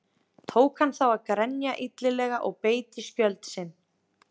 Tók hann þá að grenja illilega og beit í skjöld sinn.